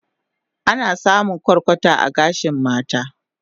Ana samun kwarkwata a gashin mata